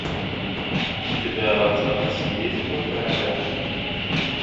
у тебя в запасе есть два короля